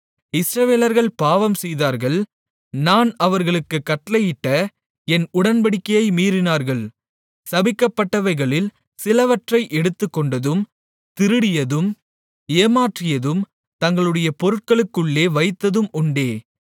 இஸ்ரவேலர்கள் பாவம் செய்தார்கள் நான் அவர்களுக்குக் கட்டளையிட்ட என் உடன்படிக்கையை மீறினார்கள் சபிக்கப்பட்டவைகளில் சிலவற்றை எடுத்துக்கொண்டதும் திருடியதும் ஏமாற்றியதும் தங்களுடைய பொருட்களுக்குள்ளே வைத்ததும் உண்டே